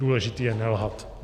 Důležité je nelhat!